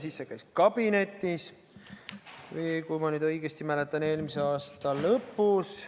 Siis see käis kabinetis, kui ma nüüd õigesti mäletan, eelmise aasta lõpus.